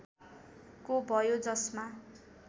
को भयो जसमा